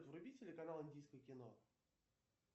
вруби телеканал индийское кино